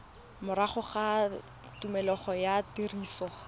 morago ga tshimologo ya tiriso